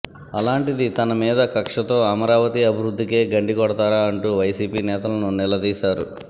అలాంటిది తనమీద కక్షతో అమరావతి అభివృద్ధికే గండి కొడతారా అంటూ వైసీపీ నేతలను నిలదీశారు